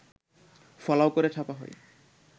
ফলাও করে ছাপা হয়